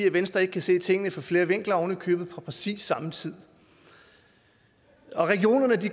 at venstre ikke kan se tingene fra flere vinkler ovenikøbet på præcis samme tid regionerne